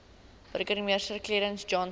burgemeester clarence johnson